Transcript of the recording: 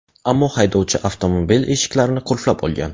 Ammo haydovchi avtomobil eshiklarini qulflab olgan.